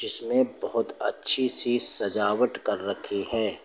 इसमें बहोत अच्छी सी सजावट कर रखी है।